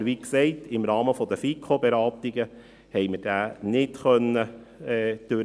Aber wir konnten diesen, wie gesagt, im Rahmen der FiKo-Beratungen nicht behandeln.